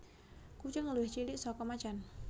Kucing luwih cilik saka macan